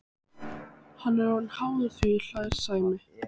Hann er orðinn háður því, hlær Sæmi.